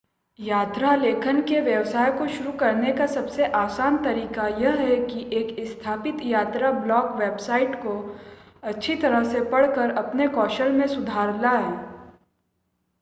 यात्रा लेखन के व्यवसाय को शुरू करने का सबसे आसान तरीका यह है कि एक स्थापित यात्रा ब्लॉग वेबसाइट को अच्छी तरह से पढ़कर अपने कौशल में सुधार लाएं